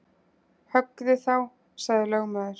Höggðu þá, sagði lögmaður.